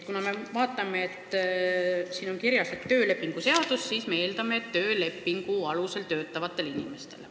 Siin on kirjas töölepingu seadus, mille põhjal me eeldame, et see tekib töölepingu alusel töötavatel inimestel.